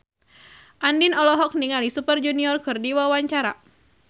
Andien olohok ningali Super Junior keur diwawancara